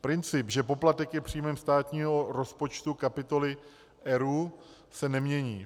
Princip, že poplatek je příjmem státního rozpočtu kapitoly ERÚ, se nemění.